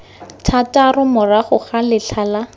thataro morago ga letlha la